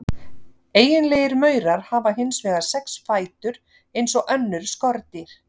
Eiginlegir maurar hafa hins vegar sex fætur eins og önnur skordýr.